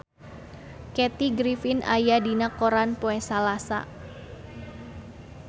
Kathy Griffin aya dina koran poe Salasa